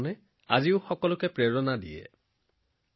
মানৱতাৰ প্ৰতি নিষ্ঠাবান তেওঁলোকৰ জীৱনে আজিও আমাক অনুপ্ৰাণিত কৰে